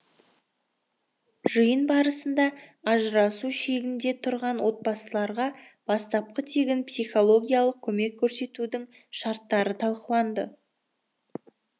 жиын барысында ажырасу шегінде тұрған отбасыларға бастапқы тегін психологиялық көмек көрсетудің шарттары талқыланды